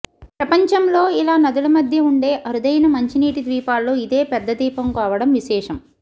ప్రపంచంలో ఇలా నదుల మధ్య ఉండే అరుదైన మంచినీటి ద్వీపాల్లో ఇదే పెద్ద ద్వీపం కావడం విశేషం